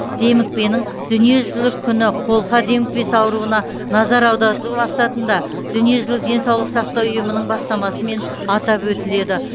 демікпенің дүниежүзілік күні қолқа демікпесі ауруына назар аударту мақсатында дүниежүзілік денсаулық сақтау ұйымының бастамасымен атап өтіледі